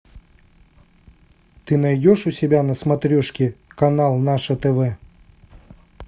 ты найдешь у себя на смотрешке канал наше тв